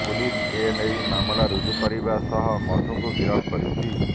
police ଏ ନେଇ ମାମଲା ରୁଜୁ କରିବା ସହ ମଧୁଙ୍କୁ ଗିରଫ କରିଛି